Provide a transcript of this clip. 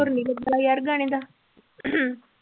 ਸੁਰ ਨੀ ਲੱਗਾ ਯਾਰ ਗਾਣੇ ਦਾ